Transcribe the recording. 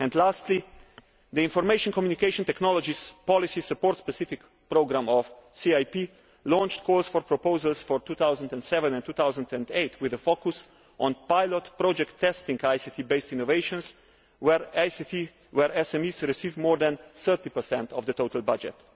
And lastly, the Information and Communication Technologies Policy Support specific Programme of CIP launched calls for proposals for 2007 and 2008 with a focus on pilot project testing ICT based innovations, where SMEs receive more than 30 of the total budget.